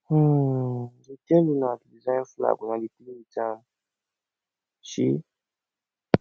um dey tell una to design flag una dey play with am um